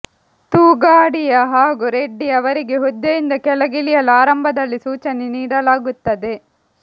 ತೊಗಾಡಿಯಾ ಹಾಗೂ ರೆಡ್ಡಿ ಅವರಿಗೆ ಹುದ್ದೆಯಿಂದ ಕೆಳಗಿಳಿಯಲು ಆರಂಭದಲ್ಲಿ ಸೂಚನೆ ನೀಡಲಾಗುತ್ತದೆ